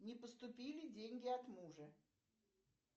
не поступили деньги от мужа